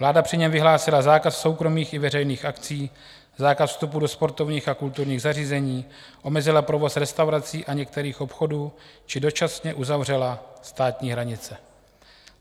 Vláda při něm vyhlásila zákaz soukromých i veřejných akcí, zákaz vstupu do sportovních a kulturních zařízení, omezila provoz restaurací a některých obchodů či dočasně uzavřela státní hranice.